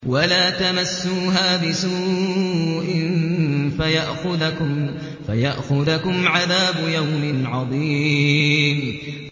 وَلَا تَمَسُّوهَا بِسُوءٍ فَيَأْخُذَكُمْ عَذَابُ يَوْمٍ عَظِيمٍ